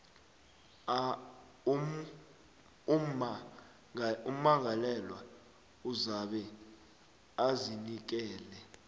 ummangalelwa uzabe azinikele